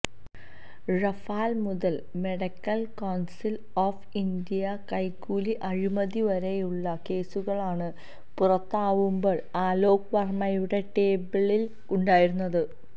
Rafale മുതല് medical council of ഇന്ത്യയുടെ കൈക്കൂലി അഴിമതി വരെയുളള കേസുകളാണ് പുറത്താവുമ്പോള് അലോക് വർമ്മയുടെ ടേബിളില് ഉണ്ടായിരുന്നത്